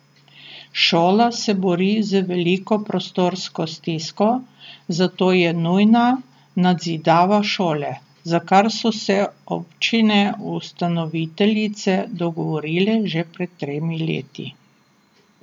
Šola se bori z veliko prostorsko stisko, zato je nujna nadzidava šole, za kar so se občine ustanoviteljice dogovorile že pred tremi leti.